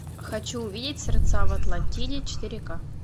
хочу увидеть сердца в атлантиде четыре ка